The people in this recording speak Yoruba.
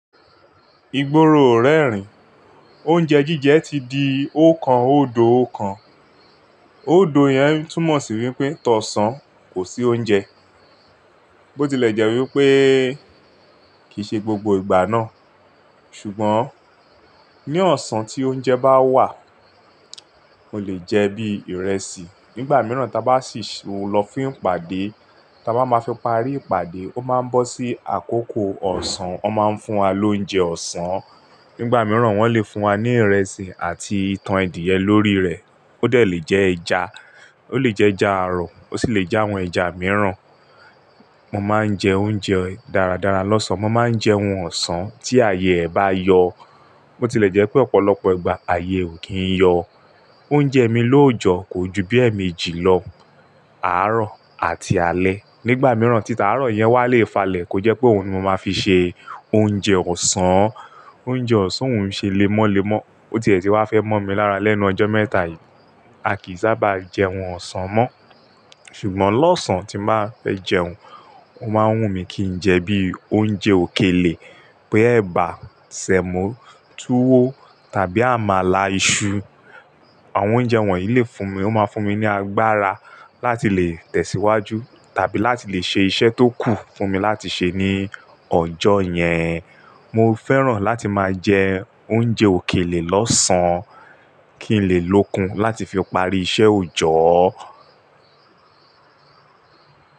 Ìgboro ò rẹ́ rìn. Oúnjẹ jíjẹ ti di okan òdò ọkàn. Óòdò yẹn túmọ̀ sí wípé tọ̀ọ́ ọ̀sán, kò sí oúnjẹ. Bó tilẹ̀ jẹ́ wípé kìí ṣe gbogbo ìgbà náà, ṣùgbọ́n ní ọ̀sán tí oúnjẹ bá wà, ó lè jẹ́ bí ìrẹsì. Nígbà mìíràn tí a bá sì ń lọ fún ìpàdé, tí a bá máa fi parí ìpàdé, ó máa ń bọ́ sí àkókò ọ̀sán, wọ́n máa ń fún wa lóúnjẹ ọ̀sán. Nígbà mìíràn wọ́n lè fún wa ní ìrẹsì àti itan adìyẹ lórí rẹ̀. Ó dè le jẹ́ ẹja, ó le jẹ́ ẹja àárọ̀, ó sì lè jẹ́ àwọn ẹja mìíràn. Mo máa ń jẹ oúnjẹ dáradára lọ́sán. Mo máa ń jẹ ohun ọ̀sán tí ààyè ẹ bá yọ. Bó tilẹ̀ jẹ́ pé ọ̀pọ̀lọpọ̀ ìgbà ààyè ò kí ń yọ. Oúnjẹ mi lóòjọ́ kò ju bí èmi jì lọ, àárọ̀ àti alẹ́. Nígbà mìíràn, títà àárọ̀ yẹn wá lè falẹ̀ kó jẹ́ pé òun ni mo máa fi ṣe oúnjẹ ọ̀sán. Oúnjẹ ọ̀sán ò ún ṣe lemọ́lemọ́. Ó tiẹ̀ tí i wá fẹ́ mọ́ mi lára lẹ́nu ọjọ́ mẹ́ta yìí, a kì í sábà jẹ ohun ọ̀sán mọ́. Ṣùgbọ́n lọ́sán tí màá fẹ́ jẹun, ó máa ń wùn mí kí n jẹ bí i oúnjẹ òkèlè pé ẹ̀bà, sẹ̀mọ́, túwó tàbí àmàlà, iṣu. Àwọn oúnjẹ wọ̀nyí lè fún mi, ó máa fún mi ní agbára láti lè tẹ̀síwájú tàbí láti lè ṣe iṣẹ́ tó kù fún mi láti ṣe ní ọjọ́ yẹn. Mo fẹ́ràn láti máa jẹ oúnjẹ òkèlè lọ́sán kí n lè lókun láti fi parí iṣẹ́ òòjọ́.